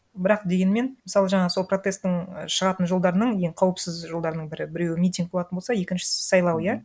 бірақ дегенмен мысалы жаңа сол протесттің і шығатын жолдарының ең қауіпсіз жолдарының бірі біреуі митинг болатын болса екіншісі сайлау иә